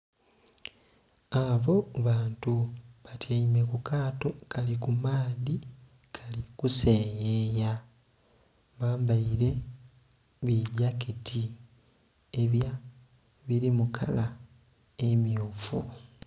Abo bantu batyaime ku kaato, kali ku maadhi kali kuseyeya. Bambaile bi gyaketi ebya... ebili mu kala emmyufu.